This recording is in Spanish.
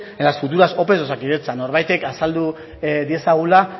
en las futuras ope de osakidetza norbaitek azaldu diezagula